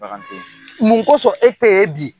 Mun kosɔn e tɛ ye bi